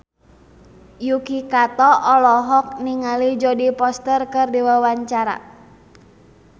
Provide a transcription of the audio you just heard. Yuki Kato olohok ningali Jodie Foster keur diwawancara